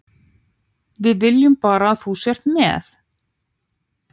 Við viljum bara að þú sért með.